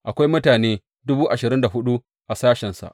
Akwai mutane dubu ashirin da hudu a sashensa.